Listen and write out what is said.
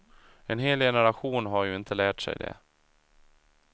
En hel generation har ju inte lärt sig det.